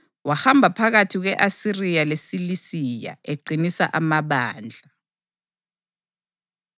Wahamba phakathi kwe-Asiriya leSilisiya eqinisa amabandla.